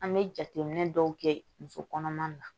An bɛ jateminɛ dɔw kɛ musokɔnɔma na